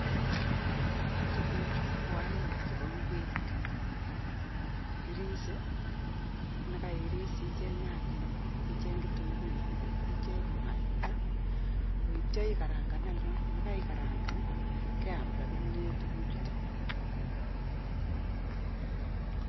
Tukuchu ko Aina nebo ngwek, kirise akicheng nyanyek tunguik ak mwaita atya ikarangan akeam